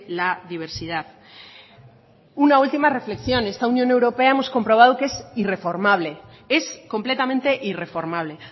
la diversidad una última reflexión esta unión europea hemos comprobado que es irreformable es completamente irreformable